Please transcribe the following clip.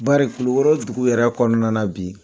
Bari kulukoro dugu yɛrɛ kɔnɔna na bi